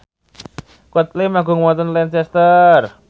Coldplay manggung wonten Lancaster